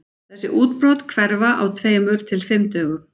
Þessi útbrot hverfa á tveimur til fimm dögum.